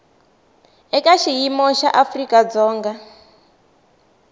eka xiyimo xa afrika dzonga